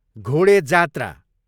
घोडे जात्रा